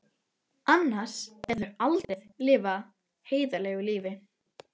Annars gætu þau aldrei lifað heiðarlegu lífi.